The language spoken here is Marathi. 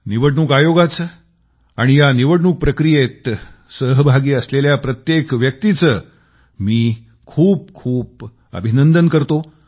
निवडणूक आयोगाला आणि या निवडणूक प्रक्रियेमध्ये सहभागी असलेल्या प्रत्येक व्यक्तीला मी खूपखूप शुभेच्छा देतो